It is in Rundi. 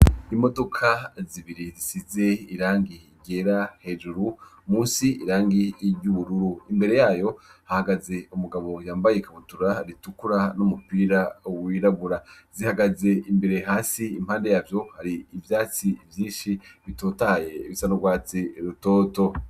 Imodoka zibiri zisize irangi iigera hejuru musi irangi y'iryoubururu imbere yayo hahagaze umugabo yambaye ikabutura ritukura n'umupira uwiragura zihagaze imbere hasi impande yavyo hari ivyatsi vyinshi bitotaye bisandwatse rutoto.